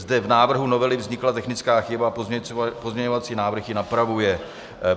Zde v návrhu novely vznikla technická chyba, pozměňovací návrh ji napravuje.